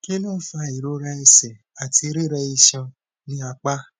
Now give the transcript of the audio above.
kí ló ń fa ìrora ẹsẹ àti rire isan ni apa